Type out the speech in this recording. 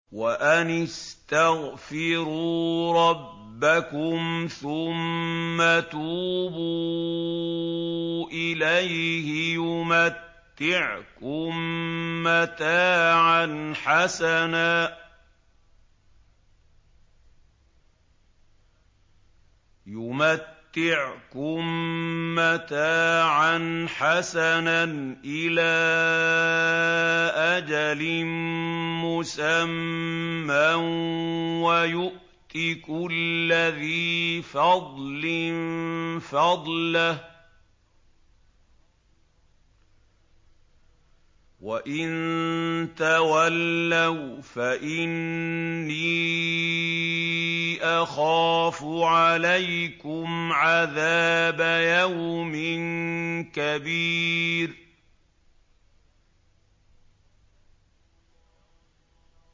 وَأَنِ اسْتَغْفِرُوا رَبَّكُمْ ثُمَّ تُوبُوا إِلَيْهِ يُمَتِّعْكُم مَّتَاعًا حَسَنًا إِلَىٰ أَجَلٍ مُّسَمًّى وَيُؤْتِ كُلَّ ذِي فَضْلٍ فَضْلَهُ ۖ وَإِن تَوَلَّوْا فَإِنِّي أَخَافُ عَلَيْكُمْ عَذَابَ يَوْمٍ كَبِيرٍ